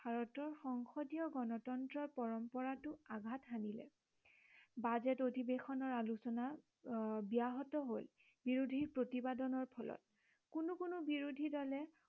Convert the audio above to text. ভাৰতীয় সংসদীয় গনতন্ত্ৰৰ পৰম্পৰাটো আঘাট হানিলে। বাজেট অধিবেশনৰ আলোচনা ব্য়াহত হল বিৰোধীৰ প্ৰতিবেদনৰ ফলত কোনো কোনো বিৰোধী দলে